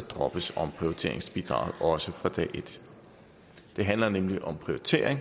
droppes omprioriteringsbidraget også fra dag et det handler nemlig om prioritering